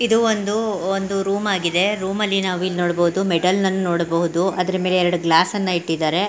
ಇದು ಒಂದು ಒಂದು ರೂಮ್ ಆಗಿದೆ ರೂಮಲ್ಲಿ ನಾವಿಲ್ಲಿ ನೋಡಬಹುದು ಮೆಟಲ್ ನನ್ನು ನೋಡಬಹುದು ಅದ್ರ ಮೇಲೆ ಎರಡು ಗ್ಲಾಸ್ ಅನ್ನು ಇಟ್ಟಿದಾರೆ .